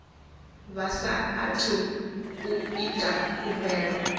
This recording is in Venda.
vha saathu u ita khumbelo